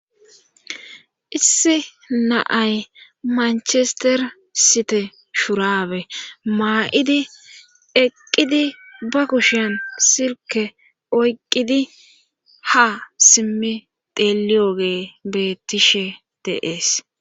Issi naay manchester site shurabe maa7idi eqqidi ba kushiyan silke oyqqidi ha simmi deliyoge bettishe de7ees